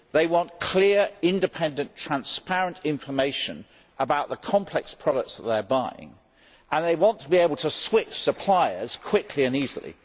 They want clear, independent, transparent information about the complex products that they are buying and they want to be able to switch suppliers quickly and easily.